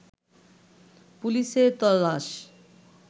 পুলিশের তল্লাশ